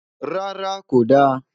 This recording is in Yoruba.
rárá, kò da